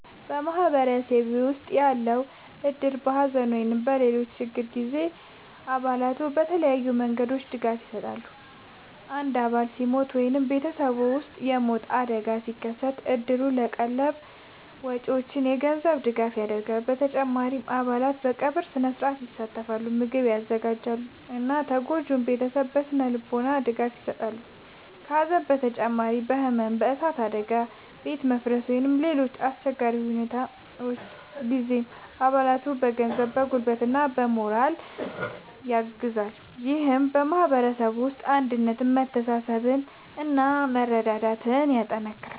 በማህበረሰባችን ውስጥ ያለው እድር በሐዘን ወይም በሌሎች ችግሮች ጊዜ ለአባላቱ በተለያዩ መንገዶች ድጋፍ ይሰጣል። አንድ አባል ሲሞት ወይም በቤተሰቡ ውስጥ የሞት አደጋ ሲደርስ፣ እድሩ ለቀብር ወጪዎች የገንዘብ ድጋፍ ያደርጋል። በተጨማሪም አባላት በቀብር ሥነ-ሥርዓት ይሳተፋሉ፣ ምግብ ያዘጋጃሉ እና ለተጎጂው ቤተሰብ የሥነ-ልቦና ድጋፍ ይሰጣሉ። ከሐዘን በተጨማሪ በሕመም፣ በእሳት አደጋ፣ በቤት መፍረስ ወይም በሌሎች አስቸጋሪ ሁኔታዎች ጊዜም አባላቱን በገንዘብ፣ በጉልበት እና በሞራል ድጋፍ ያግዛል። ይህም በማህበረሰቡ ውስጥ አንድነትን፣ መተሳሰብን እና መረዳዳትን ያጠናክራል።